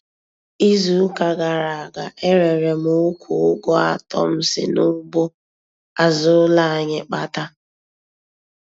Izu ụka gara aga, e rere m ukwu Ụgụ atọ m si n'ugbo azụ ụlọ anyị kpata.